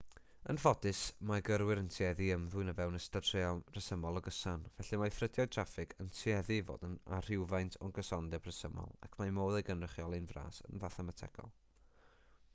yn ffodus mae gyrwyr yn tueddu i ymddwyn o fewn ystod resymol o gyson felly mae ffrydiau traffig yn tueddu i fod â rhywfaint o gysondeb rhesymol ac mae modd ei gynrychioli'n fras yn fathemategol